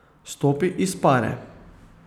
Stopi iz pare.